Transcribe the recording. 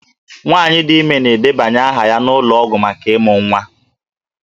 Nwaanyị dị ime na-edebanye aha ya n'ụlọ ọgwụ maka ịmụ nwa